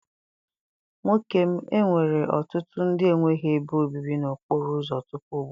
Nwoke m, enwere ọtụtụ ndị enweghị ebe obibi n'okporo ụzọ tupu ugbu a.